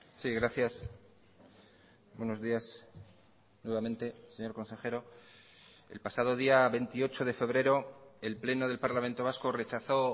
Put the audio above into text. sí gracias buenos días nuevamente señor consejero el pasado día veintiocho de febrero el pleno del parlamento vasco rechazó